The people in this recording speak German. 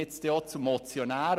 Ich blicke zum Motionär.